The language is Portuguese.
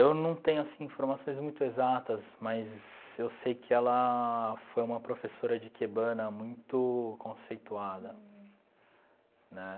Eu não tenho essas informações muito exatas, mas eu sei que ela foi uma professora de ikebana muito conceituada, né?